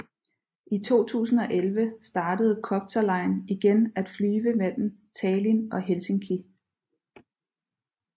I 2011 startede Copterline igen at flyve mellem Tallin og Helsinki